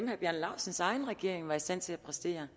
herre bjarne laustsens egen regering var i stand til at præstere